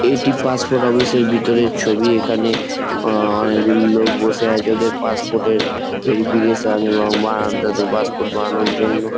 এটি passport office -এর ভিতরের ছবি। এখানে আ অনেকগুলি লোক বসে আছে। ওদের পাসপোর্ট -এর ভেরিফিকেশন এবং বানানোর তাদের পাসপোর্ট বানানোর জন্য।